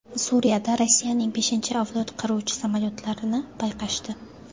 Suriyada Rossiyaning beshinchi avlod qiruvchi samolyotlarini payqashdi.